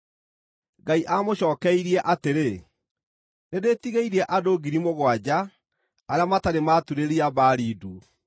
Ngai aamũcookeirie atĩrĩ, “Nĩndĩĩtigĩirie andũ ngiri mũgwanja arĩa matarĩ maaturĩria Baali ndu.”